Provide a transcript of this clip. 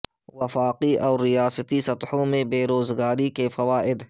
وفاقی اور ریاستی سطحوں میں بے روزگاری کے فوائد